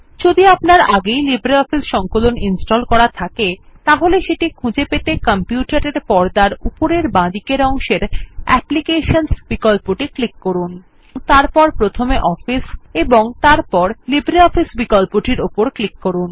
যদি আপনার আগেই লিব্রিঅফিস সংকলন ইনস্টল করা থাকে তাহলে সেটি খুঁজে পেতে কম্পিউটার এর পর্দার উপরের বাঁদিকের অংশের অ্যাপ্লিকেশনস বিকল্পটি ক্লিক করুন এবং তারপর প্রথমে অফিস ও তারপর লিব্রিঅফিস বিকল্পটির উপর ক্লিক করুন